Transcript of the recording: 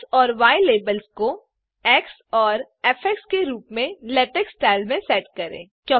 x और Y labels को X और फ़ के रूप में लेटेक्स स्टाइल में सेट करें